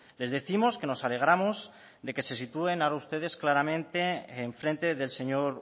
les décimos que nos alegramos de que se sitúen ahora ustedes claramente en frente del señor